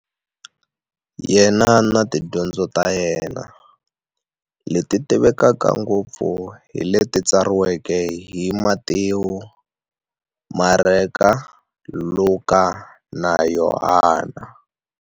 Yena na tidyondzo ta yena, leti tivekaka ngopfu hi leti tsariweke hi, Matewu, Mareka, Luka, na Yohani.